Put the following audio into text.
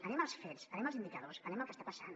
anem als fets anem als indicadors anem al que està passant